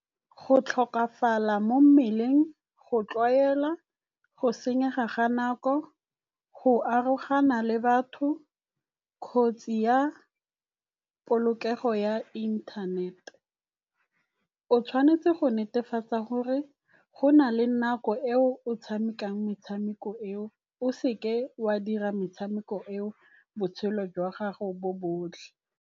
Go tlhokafala mo mmeleng, go tlwaela, go senyega ga nako, go arogana le batho kgotsi ya polokego ya inthanete. O tshwanetse go netefatsa gore go na le nako eo o tshamekang metshameko eo, o seke wa dira metshameko eo botshelo jwa gago bo botlhe.